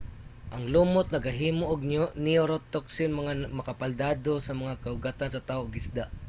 ang lumot nagahimo og neurotoxin nga makabaldado sa mga kaugatan sa tao ug isda